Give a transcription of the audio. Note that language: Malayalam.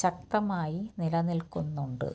ശക്തമായി നിലനില്ക്കുന്നുണ്ട്